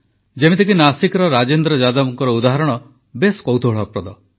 ଯେମିତିକି ନାସିକର ରାଜେନ୍ଦ୍ର ଯାଦବଙ୍କ ଉଦାହରଣ ବେଶ୍ କୌତୁହଳପ୍ରଦ